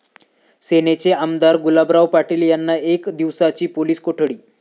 सेनेचे आमदार गुलाबराव पाटील यांना एक दिवसाची पोलीस कोठडी